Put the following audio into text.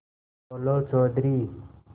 बोलो चौधरी